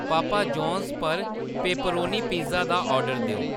पॉपा John's पर pepperoni pizza दा order देओ